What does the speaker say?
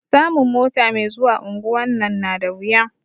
Samun mota me zuwa unguwan nan na da wuya